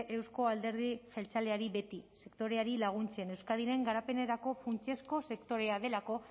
euzko alderdi jeltzalea beti sektoreari laguntzen euskadiren garapenerako funtsezko sektorea delako